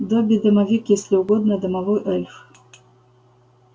добби-домовик если угодно домовой эльф